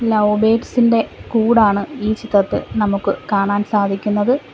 Love birds ഇന്റെ കൂടാണ് ഈ ചിത്രത്തിൽ നമുക്ക് കാണാൻ സാധിക്കുന്നത്.